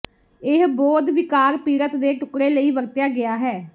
ਇਹ ਬੋਧ ਿਵਕਾਰ ਪੀੜਤ ਦੇ ਟੁਕਡ਼ੇ ਲਈ ਵਰਤਿਆ ਗਿਆ ਹੈ